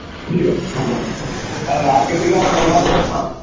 কিরে আজকের থেকে